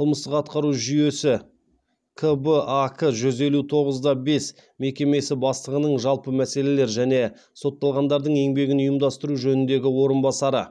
қажкб ак жүз елу тоғыз да бес мекемесі бастығының жалпы мәселелер және сотталғандардың еңбегін ұйымдастыру жөніндегі орынбасары